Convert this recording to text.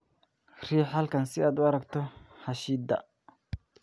Riix halkan si aad u aragto xaashida